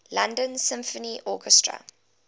london symphony orchestra